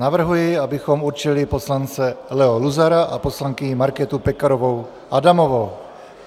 Navrhuji, abychom určili poslance Leo Luzara a poslankyni Markétu Pekarovou Adamovou.